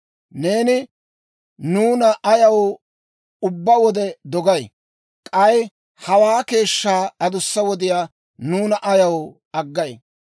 Neeni nuuna ayaw ubbaa wode dogay? K'ay hawaa keeshshaa adussa wodiyaa nuuna ayaw aggay?